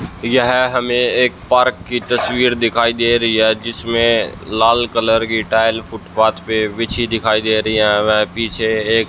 यह हमें एक पार्क की तस्वीर दिखाई दे रही है जिसमें लाल कलर की टाइल फुटपाथ पे बिछी दिखाई दे रही है व पीछे एक--